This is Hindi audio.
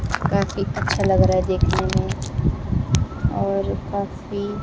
काफी अच्छा लग रहा है देखने में और काफी--